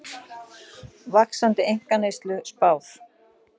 Vaxandi einkaneyslu spáð